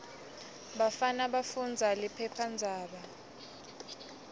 bafana bafundza liphephandzaba